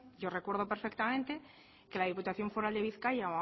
yo recuerdo perfectamente que la diputación foral de bizkaia